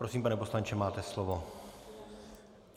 Prosím, pane poslanče, máte slovo.